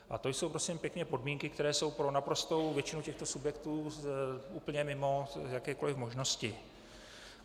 A to jsou, prosím pěkně, podmínky, které jsou pro naprostou většinu těchto subjektů úplně mimo jakékoli možnosti.